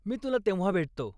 मी तुला तेव्हा भेटतो.